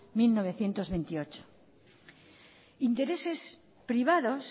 mil novecientos veintiocho intereses privados